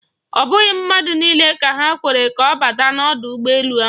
Ọ bụghị mmadụ niile ka ha kwere ka ọ bata n'ọdụ ụgbọ elu ahụ.